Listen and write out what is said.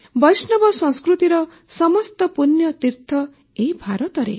ବୈଷ୍ଣବ ସଂସ୍କୃତିର ସମସ୍ତ ପୂଣ୍ୟତୀର୍ଥ ଏହି ଭାରତରେ